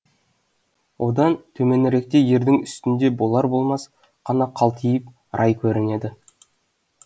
одан төменіректе ердің үстінде болар болмас қана қалтиып рай көрінеді